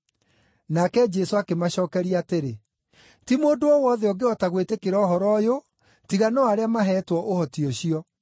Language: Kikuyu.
Nake Jesũ akĩmacookeria atĩrĩ, “Ti mũndũ o wothe ũngĩhota gwĩtĩkĩra ũhoro ũyũ, tiga no arĩa maheetwo ũhoti ũcio.